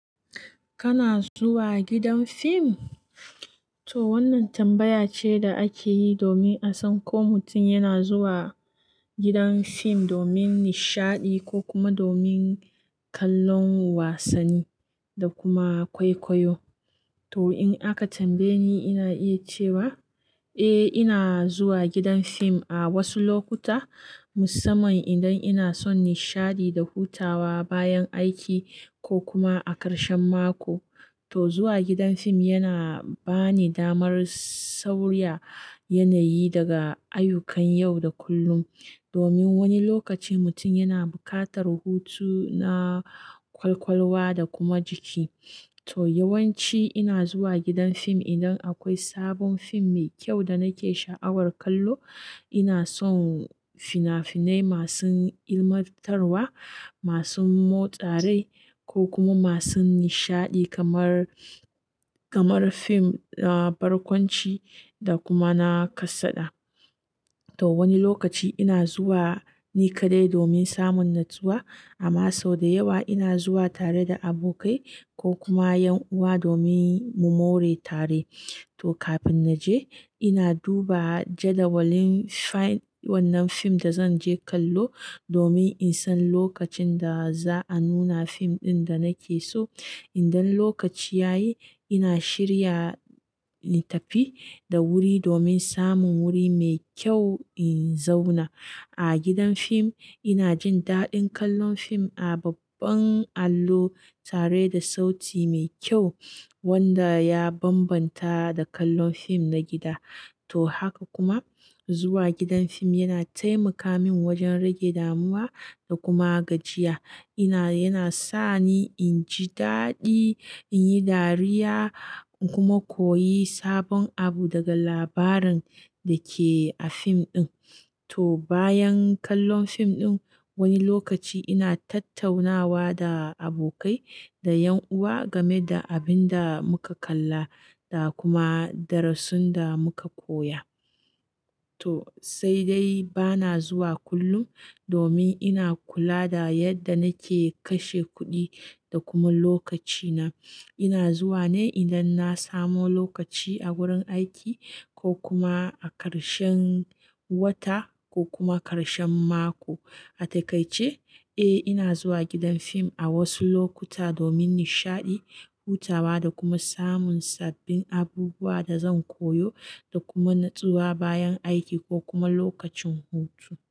Kana zuwa gidan fim? To wannan tambaya ce da ake yi domin a san ko mutum yana zuwa gidan fim domin nishaɗi ko kuma domin kallon wasanni da kuma kwaikwayo. To in aka tambaye ni, ina iya cewa, "Eh, ina zuwa gidan fim a wasu lokuta, musamman idan ina son nishaɗi da hutawa bayan aiki ko kuma a karshen mako." To zuwa gidan fim yana ba ni damar sauya yanayi daga ayyukan yau da kullum. Domin wani lokaci mutum yana buƙatar hutu na kwalkwalwa da kuma jiki. To yawanci ina zuwa gidan fim idan akwai sabon fim mai kyau da nake sha'awar kallo. Ina son fina-finai masu ilmantarwa, masu motsari ko kuma masu nishaɗi kamar, kamar fim, ah, barkwanci da kuma na kasada. To wani lokaci ina zuwa ni kaɗai domin samun natsuwa, amma sau da yawa ina zuwa tare da abokai ko kuma 'yan uwa domin mu more tare. To kafin na je ina duba jadawalin faim wannan fim da zan je kallo domin in san lokacin da za a nuna fim ɗin da nake so. Idan lokaci ya yi ina shirya in tafi da wuri domin samun wuri mai kyau in zauna. A gidan fim ina jin daɗin kallon fim a babban allo tare da sauti mai kyau wanda ya bambanta da kallon fim na gida. To haka kuma zuwa gidan fim yana taimaka min wajen rage damuwa da kuma gajiya. Ina yana sa ni in ji daɗi, in yi dariya kuma koyi sabon abu daga labarin da ke a fim ɗin. To bayan kallon fim ɗin wani lokaci ina tattaunawa da abokai da 'yan uwa game da abin da muka kalla da kuma darasin da muka koya. To sai dai bana zuwa kullum domin ina kula da yadda nake kashe kuɗi da kuma lokacina. Ina zuwa ne idan na samu lokaci a wurin aiki ko kuma a karshen wata ko kuma karshen mako. A takaice, eh ina zuwa gidan fim a wasu lokuta domin nishaɗi, hutawa da kuma samun sabbin abubuwa da zan koyo da kuma natsuwa bayan aiki ko kuma lokacin hutu.